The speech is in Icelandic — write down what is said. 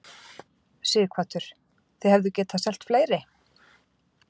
Sighvatur: Þið hefðuð getað selt fleiri?